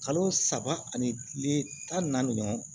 Kalo saba ani tan ni naani ɲɔgɔn